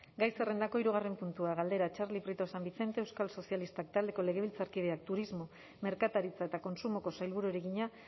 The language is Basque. gai zerrendako hirugarren puntua galdera txarli prieto san vicente euskal sozialistak taldeko legebiltzarkideak turismo merkataritza eta kontsumoko sailburuari egina